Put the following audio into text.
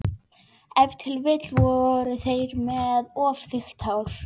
Ef til vill voru þeir með of þykkt hár.